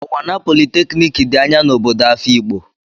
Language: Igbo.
Unwana polytechnic dị anya na obodo Afikpo.